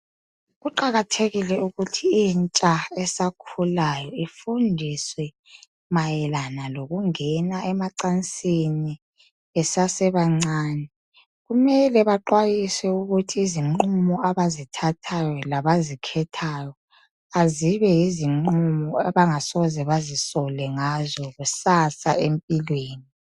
Kuqakathekile ukuthi intsha esakhulayo ifundiswe mayelana lokungena emacansini besasebancane. Kumele baxwayiswe ukuthi izinqumo abazithathayo labazikhethayo, azibe yizinqumo abangasoze bazisole ngazo kusasa empilweni.